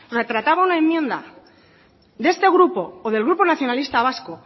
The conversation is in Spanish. se trataba una enmienda de este grupo o del grupo nacionalista vasco